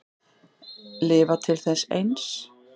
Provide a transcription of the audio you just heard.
Lifa til þess eins.